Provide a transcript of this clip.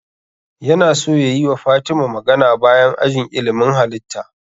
Yana so yayi wa fatima magana bayan ajin ilimin halitta